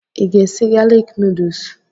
Ị ga-esi galik nuduls?